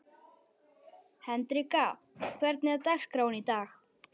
Hendrikka, hvernig er dagskráin í dag?